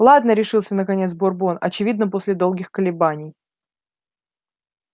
ладно решился наконец бурбон очевидно после долгих колебаний